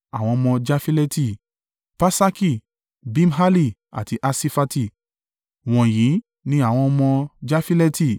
Àwọn ọmọ Jafileti: Pasaki, Bimhali àti Asifati. Wọ̀nyí ni àwọn ọmọ Jafileti.